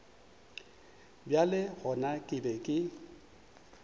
bjale gona ke be ke